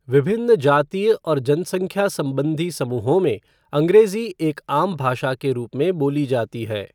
विभिन्न जातीय और जनसंख्या संबंधी समूहों में अँग्रेज़ी एक आम भाषा के रूप में बोली जाती है।